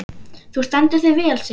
Þú stendur þig vel, Sigurósk!